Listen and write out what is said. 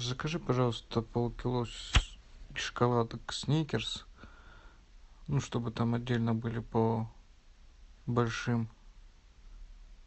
закажи пожалуйста полкило шоколадок сникерс ну чтобы там отдельно были по большим